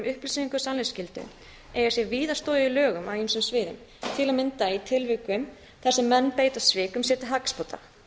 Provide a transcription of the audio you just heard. og sannleiksskyldu eigi sér víða stoð í lögum á ýmsum sviðum til að mynda í tilvikum þar sem menn beita svikum sér til hagsbóta